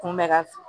Kunbɛ ka f